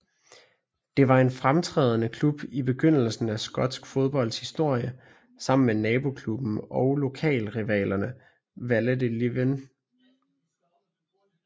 Det var en fremtrædende klub i begyndelsen af skotsk fodbolds historie sammen med naboklubben og lokalrivalerne Vale of Leven FC